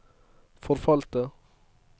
forfalte